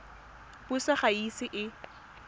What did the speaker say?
puso ga e ise e